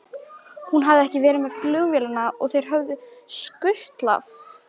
Hún hafði ekki verið með flugvélinni og þeir höfðu skutlað